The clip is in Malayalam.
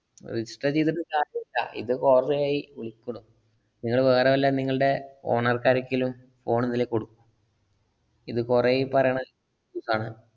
register ചെയ്തിട്ടു കാര്യമില്ല. ഇത് കൊറേ ആയി വിളിക്കണു. നിങ്ങള് വേറെ വല്ല നിങ്ങളുടെ owner ക്ക് ആര്‍ക്കേലും ഫോണ്‍ ഒന്നിലേ കൊടുക്കൂ. ഇത് കൊറേയി പറേണത്. ആഹ്